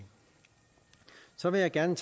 så vil jeg gerne